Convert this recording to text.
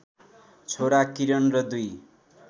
छोरा किरण र दुई